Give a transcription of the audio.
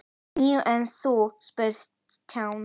Níu, en þú? spurði Stjáni.